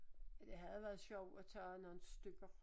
Men det havde været sjovt at tage op nogle stykker